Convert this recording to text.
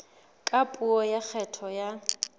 ka puo ya kgetho ya